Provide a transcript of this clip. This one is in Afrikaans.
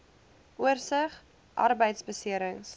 oorsig arbeidbeserings